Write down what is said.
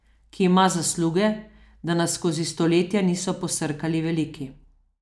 Ki ima zasluge, da nas skozi stoletja niso posrkali veliki.